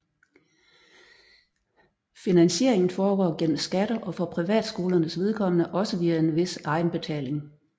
Finansieringen foregår gennem skatter og for privatskolernes vedkommende også via en vis egenbetaling